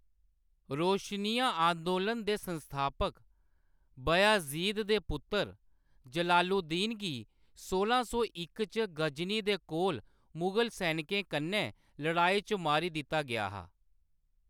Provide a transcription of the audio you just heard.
रोशनिया अंदोलन दे संस्थापक बयाज़ीद दे पुत्तर जलालुद्दीन गी सोंला सौ इक च गजनी दे कोल मुगल सैनिकें कन्नै लड़ाई च मारी दित्ता गेआ हा।